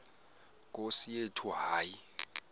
nkosi yethu hayi